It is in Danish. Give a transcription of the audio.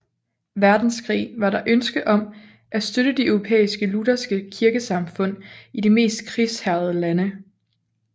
Verdenskrig var der ønske om at støtte de europæiske lutherske kirkesamfund i de mest krigshærgede lande